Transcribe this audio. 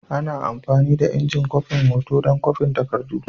Ana amfani da injin kwafin hoto don kwafin takardu.